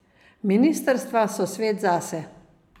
Ministrstva so svet zase.